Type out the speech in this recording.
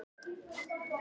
Ég kann vel við mig hér